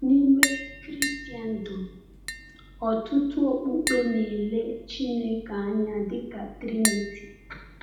N’ime Kraịstndọm, ọtụtụ okpukpe na-ele Chineke anya dịka Triniti.